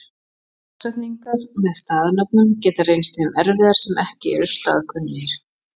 Forsetningar með staðanöfnum geta reynst þeim erfiðar sem ekki eru staðkunnugir.